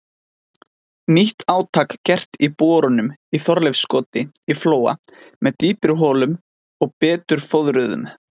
Nýtt átak gert í borunum í Þorleifskoti í Flóa með dýpri holum og betur fóðruðum.